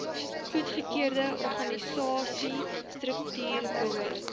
goedgekeurde organisasiestruktuur behoort